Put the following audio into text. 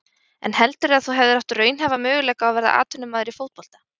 En heldurðu að þú hefðir átt raunhæfa möguleika á að verða atvinnumaður í fótbolta?